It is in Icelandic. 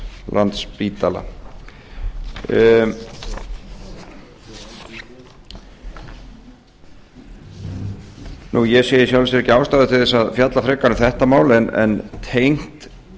landspítala ég sé í sjálfu sér ekki ástæðu til að fjalla frekar um þetta mál en tengt